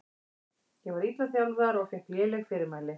Ég var illa þjálfaður og fékk léleg fyrirmæli.